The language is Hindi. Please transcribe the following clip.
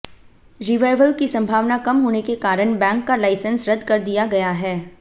रिवाइवल की संभावना कम होने के कारण बैंक का लाइसेंस रद्द कर दिया गया है